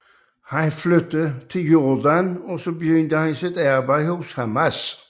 Han flyttede til Jordan og begyndte sit arbejde for Hamas